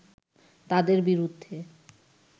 তাঁদের বিরুদ্ধে